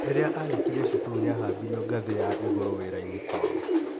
Rĩrĩa arĩkirie cukuru nĩ ahaimbirio ngathĩ ya igũrũwĩra-inĩ kwao.